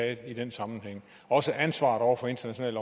i den sammenhæng og også ansvaret over for internationale